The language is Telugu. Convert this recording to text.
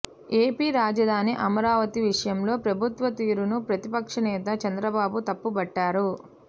ఏపీ రాజధాని అమరావతి విషయంలో ప్రభుత్వ తీరును ప్రతిపక్ష నేత చంద్రబాబు తప్పు బట్టారు